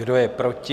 Kdo je proti?